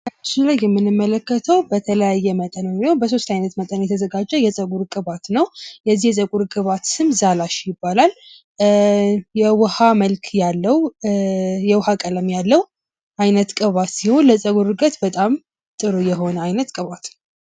በምስሉ ላይ የምንመለከተው በተለያየ መጠን የተዘጋጀ የጸጉር ቅባት ሲሆን፤ ዛላሽ ይባላል። የውሃ መልክ ወይ ቀለም ያለው ሲሆን፤ ለጸጉር እድገት በጣም ጠቃሚ የጸጉር ቅባት ነው።